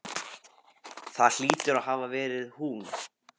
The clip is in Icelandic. Það hlýtur að hafa verið hún.